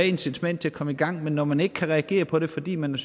incitament til at komme i gang men når man ikke kan reagere på det fordi man er